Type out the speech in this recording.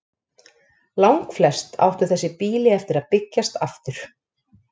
Langflest áttu þessi býli eftir að byggjast aftur.